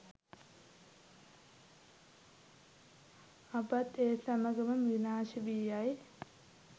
අපත් ඒ සමගම විනාශ වී යයි.